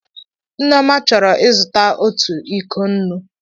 Nneoma choro izuta otu iko nnu.